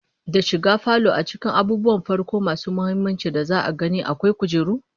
Da shiga falo a cikin abubuwan farko masu muhimmanci da za'a gani, akwai kujeru